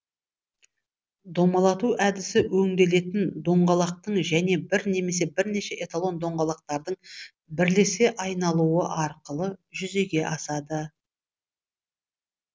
домалату әдісі өңделетін доңғалақтың және бір немесе бірнеше эталон доңғалақтардың бірлесе айналуы арқылы жүзеге асады